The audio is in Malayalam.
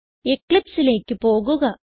Eclipseലേക്ക് പോകുക